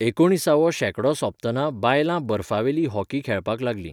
एकुणिसावो शेंकडो सोंपतना बायलां बर्फावेलो हॉकी खेळपाक लागलीं.